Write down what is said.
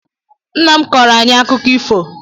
Nnam kọọro ayi akụkọ ifo